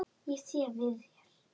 Ég sé við þér.